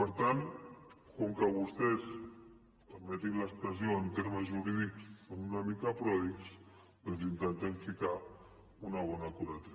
per tant com que vostès permetin l’expressió en termes jurídics són una mica pròdigs doncs intentem ficar una bona curatela